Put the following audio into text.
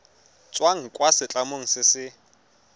tswang kwa setlamong se se